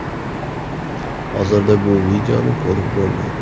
Hozirda bu videoni ko‘rib bo‘lmaydi.